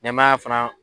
Nɛmaya fana